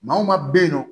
Maa o maa bɛ yen nɔ